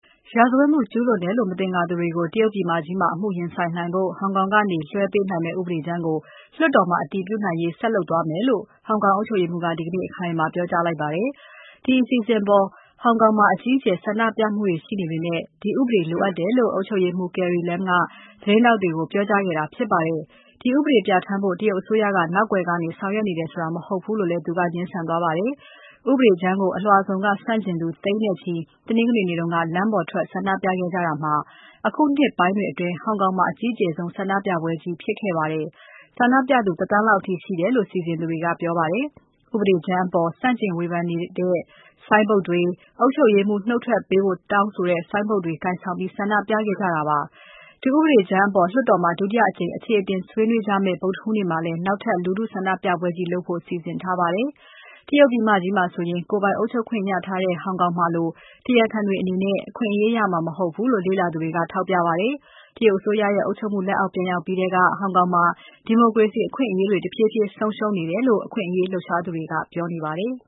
ရာဇဝတ်မှု ကျူးလွန်တယ်လို့ မသင်္ကာသူတွေကို တရုတ်ပြည်မကြီးမှာ အမှုရင်ဆိုင်နိုင်ဖို့ ဟောင်ကောင်ကနေ လွှဲပေးနိုင်မယ့် ဥပဒေကြမ်းကို လွှတ်တော်မှာ အတည်ပြုနိုင်ဖို့ ဆက်လုပ်သွားမယ်လို့ ဟောင်ကောင်အုပ်ချုပ်ရေးမှူးက ဒီကနေ့ အခိုင်အမာ ပြောကြားလိုက်ပါတယ်။ ဒီအစီအစဉ်ပေါ် ဟောင်ကောင်မှာ အကြီးအကျယ် ဆန္ဒပြမှုတွေရှိနေပေမဲ့ ဒီဥပဒေ လိုအပ်တယ်လို့ အုပ်ချုပ်ရေးမှူး Carrie Lam က သတင်းထောက်တွေကို ပြောကြားခဲ့တာ ဖြစ်ပါတယ်။ ဒီဥပဒေပြဌာန်းဖို့ တရုတ်အစိုးရက နောက်ကွယ်ကနေ ဆောင်ရွက်နေတယ်ဆိုတာ မဟုတ်ဘူးလို့လည်း သူက ငြင်းဆန်သွားပါတယ်။ ဥပဒေကြမ်းကို အလွှာစုံက ဆန့်ကျင်သူ သိန်းနဲ့ချီ တနင်္ဂနွေနေ့က လမ်းပေါ်ထွက် ဆန္ဒပြခဲ့ကြတာမှာ အခုနှစ်ပိုင်းတွေအတွင်း ဟောင်ကောင်မှာ အကြီးကျယ်ဆုံး ဆန္ဒပြပွဲကြီး ဖြစ်ခဲ့ပါတယ်။ ဆန္ဒပြသူ တသန်းလောက်အထိ ရှိတယ်လို့ စီစဉ်သူတွေက ပြောပါတယ်။ ဥပဒေကြမ်းအပေါ် ဆန့်ကျင်ဝေဖန်တဲ့ ဆိုင်းဘုတ်တွေ၊ အုပ်ချုပ်ရေးမှူး နှုတ်ထွက်ပေးဖို့ တောင်းဆိုတဲ့ ဆိုင်းဘုတ်တွေကို ကိုင်ဆောင် ဆန္ဒပြခဲ့ကြတာပါ။ ဒီဥပဒေကြမ်းအပေါ် လွှတ်တော်မှာ ဒုတိယအကြိမ် အခြေအတင်ဆွေးနွေးကြမယ့် ဗုဒ္ဓဟူးနေ့မှာလည်း နောက်ထပ် လူထုဆန္ဒပြပွဲကြီး လုပ်ကြဖို့ စီစဉ်ထားပါတယ်။ တရုတ်ပြည်မကြီးမှာဆိုရင် ကိုယ်ပိုင်အုပ်ချုပ်ခွင့်ရထားတဲ့ ဟောင်ကောင်မှာလို တရားခံတွေအနေနဲ့ အခွင့်အရေးရမှာ မဟုတ်ဘူးလို့ လေ့လာသူတွေက ထောက်ပြပါတယ်။ တရုတ်အစိုးရရဲ့ အုပ်ချုပ်မှု လက်အောက်ပြန်ရောက်ပြီးထဲက ဟောင်ကောင်မှာ ဒီမိုကရေစီ အခွင့်အရေးတွေ တဖြည်းဖြည်း ဆုံးရှုံးနေတယ်လို့ အခွင့်အရေး လှုပ်ရှားသူတွေက ပြောပါတယ်။